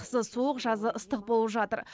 қысы суық жазы ыстық болып жатыр